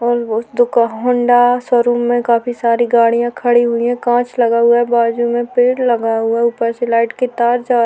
और वो उस दुका हौंडा शोरूम में काफी सारी गाड़ीयाँ खड़ी हुईं हैं कांच लगा हुआ है। बाजु में पेड़ लगा हुआ है ऊपर से लाइट की तार जा --